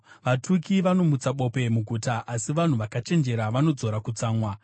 Vatuki vanomutsa bope muguta, asi vanhu vakachenjera vanodzora kutsamwa.